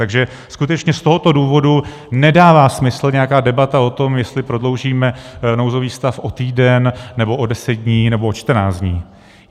Takže skutečně z tohoto důvodu nedává smysl nějaká debata o tom, jestli prodloužíme nouzový stav o týden, nebo o deset dní, nebo o čtrnáct dní.